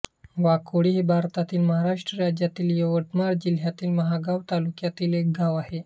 वाकोडी हे भारतातील महाराष्ट्र राज्यातील यवतमाळ जिल्ह्यातील महागांव तालुक्यातील एक गाव आहे